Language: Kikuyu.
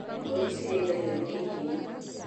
Mbũri cirĩithagio ni ihĩĩ